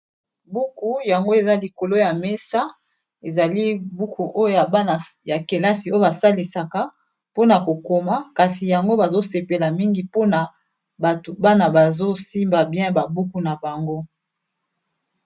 Buku yango eza likolo ya mesa ezali buku oyo ya bana ya kelasi oyo basalisaka mpona kokoma kasi yango bazosepela mingi mpona bana bazosimba bien ba buku na bango.